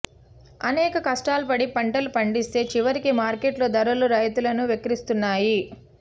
అనేక కష్టాలు పడి పంటలు పండిస్తే చివరికి మార్కెట్లో ధరలు రైతును వెక్కిరిస్తున్నాయి